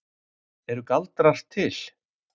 Eru galdrar til?